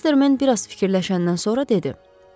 Mastermen biraz fikirləşəndən sonra dedi: